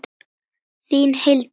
Þín, Hildur Lára.